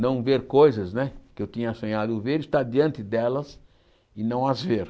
Não ver coisas né que eu tinha sonhado em ver, estar diante delas e não as ver.